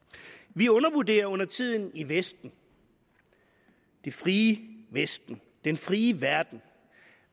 vi undervurderer undertiden i vesten det frie vesten den frie verden